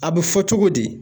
A bɛ fɔ cogo di